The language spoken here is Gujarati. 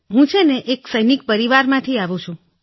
હું સૈનિક પરિવારમાંથી છું